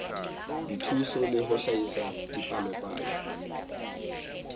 dithuso le ho hlahisa dipalopalo